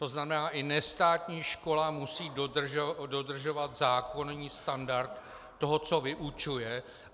To znamená, i nestátní škola musí dodržovat zákonný standard toho, co vyučuje.